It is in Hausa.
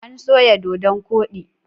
An soya dodon koɗi.